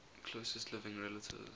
closest living relatives